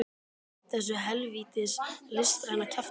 Og hætt þessu hel vítis listræna kjaftæði.